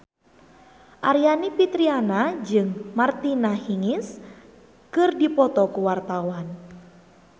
Aryani Fitriana jeung Martina Hingis keur dipoto ku wartawan